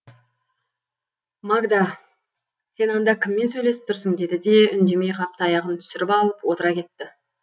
магда сен анда кіммен сөйлесіп тұрсың деді де үндемей қап таяғын түсіріп алып отыра кетті